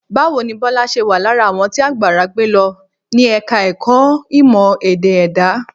Báwo ni Bọ́lá ṣe wà lára àwọn tí àgbàrá gbé lọ ní Ẹ̀ka-ẹ̀kọ́ Ìmọ̀-Ẹ̀dá Èdè?